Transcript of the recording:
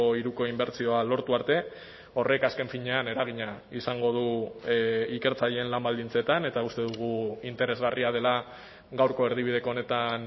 hiruko inbertsioa lortu arte horrek azken finean eragina izango du ikertzaileen lan baldintzetan eta uste dugu interesgarria dela gaurko erdibideko honetan